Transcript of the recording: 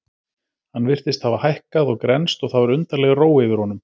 Hann virtist hafa hækkað og grennst og það var undarleg ró yfir honum.